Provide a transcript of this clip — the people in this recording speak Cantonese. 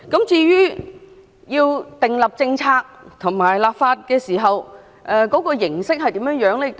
至於要訂立政策和立法時，有關的形式會如何呢？